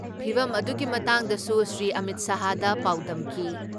ꯐꯤꯕꯝ ꯑꯗꯨꯒꯤ ꯃꯇꯥꯡꯗꯁꯨ ꯁ꯭ꯔꯤ ꯑꯃꯤꯠ ꯁꯥꯍꯗ ꯄꯥꯎꯗꯝꯈꯤ ꯫